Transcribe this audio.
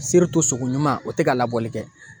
sogo ɲuman o te ka labɔli kɛ